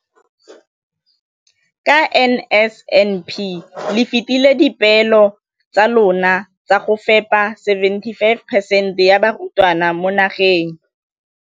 Ka NSNP le fetile dipeelo tsa lona tsa go fepa masome a supa le botlhano a diperesente ya barutwana ba mo nageng.